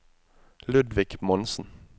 Ludvig Monsen